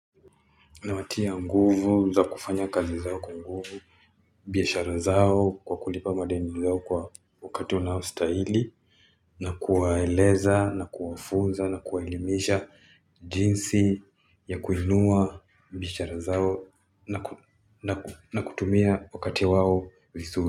Na watia unguvu, za kufanya kazi zao kwa nguvu, Biasha razao, kwa kulipa madeni nizao kwa wakati wanao staili, na kuwaeleza, na kuwafunza, na kuwaelimisha jinsi ya kuinua, biasha razao, na kutumia wakati wao visu.